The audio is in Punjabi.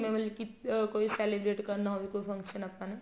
ਜਿਵੇਂ ਮਤਲਬ ਕੀ ਅਹ ਕੋਈ celebrate ਕਰਨਾ ਹੋਵੇ ਕੋਈ function ਆਪਾਂ ਨੇ